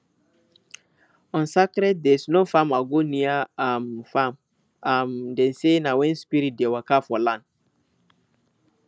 on sacred days no farmer go near um farm um dem say na when spirits dey waka for land